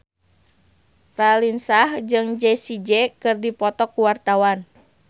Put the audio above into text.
Raline Shah jeung Jessie J keur dipoto ku wartawan